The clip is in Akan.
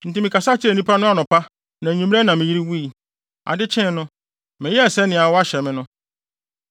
Enti mekasa kyerɛɛ nnipa no anɔpa na nʼanwummere na me yere wui. Ade kyee no, meyɛɛ sɛnea wɔahyɛ me no.